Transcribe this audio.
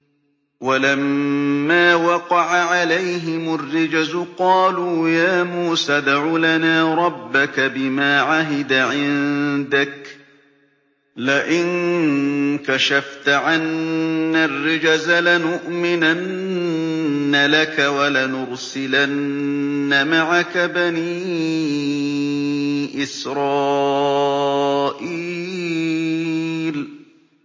وَلَمَّا وَقَعَ عَلَيْهِمُ الرِّجْزُ قَالُوا يَا مُوسَى ادْعُ لَنَا رَبَّكَ بِمَا عَهِدَ عِندَكَ ۖ لَئِن كَشَفْتَ عَنَّا الرِّجْزَ لَنُؤْمِنَنَّ لَكَ وَلَنُرْسِلَنَّ مَعَكَ بَنِي إِسْرَائِيلَ